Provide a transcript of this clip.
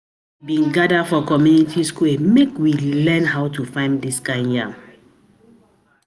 We bin gather for community square make we learn how to farm dis kind yam.